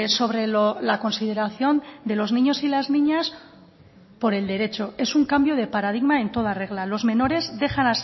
sobre la consideración de los niños y las niñas por el derecho es un cambio de paradigma en toda regla los menores dejan